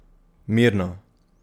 Mirno.